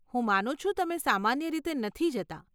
હું માનું છું, તમે સામાન્ય રીતે નથી જતાં.